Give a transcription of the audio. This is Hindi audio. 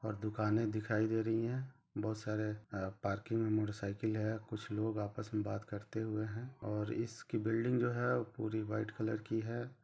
--और दुकाने दिखाई दे रही है बहुत सारे अ-पार्किंग में मोटरसाइकिल है कुछ लोग आपस में बात करते हुए है और इस की बिल्डिंग जो है पूरी वाइट कलर की है।